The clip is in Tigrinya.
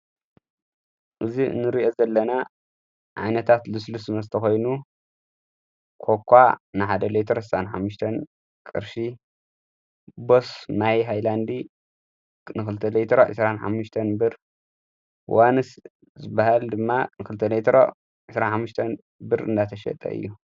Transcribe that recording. እዙ እንርእአ ዘለና ዓይነታት ልስልስመስተኾይኑ ኰኳ ንሓደ ለይተርን ኃተን ቅርሺ ቦስ ማይ ሃላንዲ ንኽልተ ለይ ዕሥሓተን ብር ዋንስ ዝበሃል ድማ ንክልተ ዕሥዓን ብር እንናተሸጠ እዩ።